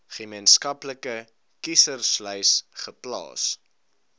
gemeenskaplike kieserslys geplaas